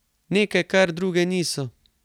Nekaj, kar druge niso.